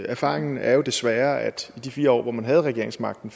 erfaringen er jo desværre at i de fire år hvor man havde regeringsmagten